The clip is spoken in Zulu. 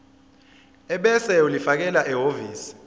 ebese ulifakela ehhovisi